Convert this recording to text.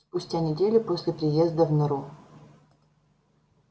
спустя неделю после приезда в нору